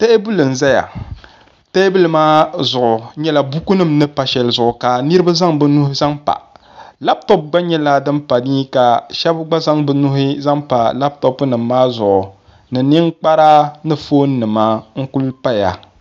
teebuli n-zaya teebuli maa zuɣu nyɛla bukunima ni pa shɛli zuɣu ka niriba zaŋ bɛ nuhi zaŋ pa lapitɔpu gba nyɛla din pa ni ka shɛba gba zaŋ bɛ nuhi zaŋ pa lapitɔpunima maa zuɣu ni ninkpara ni foonnima n-kuli paya